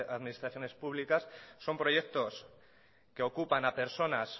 administraciones públicas son proyectos que ocupan a personas